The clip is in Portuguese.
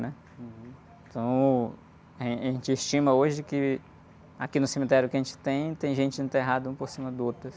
né? Então, eh, a gente estima hoje que aqui no cemitério que a gente tem, tem gente enterrada uma por cima do outro, assim